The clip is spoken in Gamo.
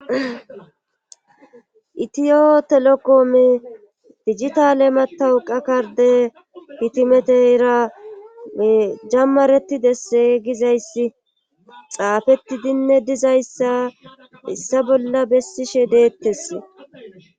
itiyo telekoome digitaale matawu qa karde pitimeteyra jammareti desse gizayssi xaafetidinne dizayssa issa bolla bessishe deettes